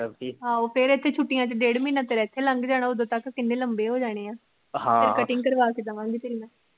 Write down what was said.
ਆਹੋ ਫਿਰ ਇਥੇ ਛੁਟੀਆਂ ਚ ਡੇਢ ਮਹੀਨੇ ਤੇਰਾ ਇਥੇ ਲੱਘ ਜਾਣਾ ਉਦੋ ਤੱਕ ਕਿਨੇ ਲੰਮੇ ਹੋ ਜਾਣੇ ਏ ਹਮ ਫਿਰ ਕਰਵਾਕੇ